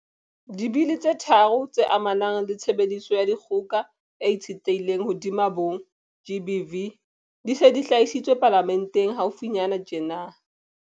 Dibili tse tharo tse amanang le tshebediso ya dikgoka e itshetlehileng hodima bong GBV di se di hlahisitswe Palamenteng haufinyana tjena.